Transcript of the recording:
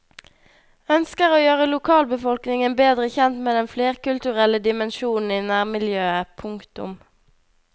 Ønsker å gjøre lokalbefolkningen bedre kjent med den flerkulturelle dimensjonen i nærmiljøet. punktum